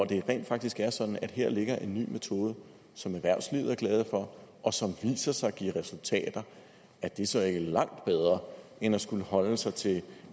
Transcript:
det rent faktisk er sådan at her ligger en ny metode som erhvervslivet er glad for og som viser sig giver resultater er det så ikke langt bedre end at skulle holde sig til